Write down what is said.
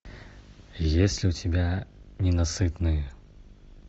есть ли у тебя ненасытные